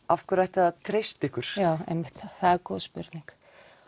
af hverju ætti að treysta ykkur já einmitt það er góð spurning